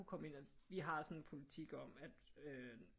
Komme ind og vi har sådan en politik om at øh